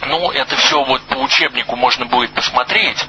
ну это все вот по учебнику можно будет посмотреть